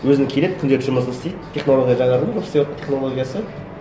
өзінің келеді күнделікті жұмысын істейді технология жаңарды ма істеватқан технологиясы